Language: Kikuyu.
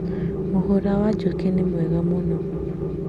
Mũhũra wa njũkĩ nĩ mwega mũũno